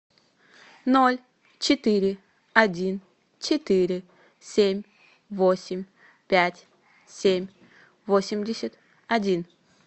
ноль четыре один четыре семь восемь пять семь восемьдесят один